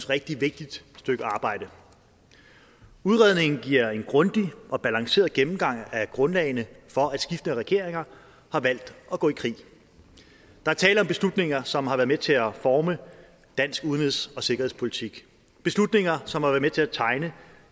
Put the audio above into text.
rigtig vigtigt stykke arbejde udredningen giver en grundig og balanceret gennemgang af grundlagene for at skiftende regeringer har valgt at gå i krig der er tale om beslutninger som har været med til at forme dansk udenrigs og sikkerhedspolitik beslutninger som har været med til at tegne